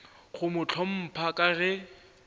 go mo hlompha ka ge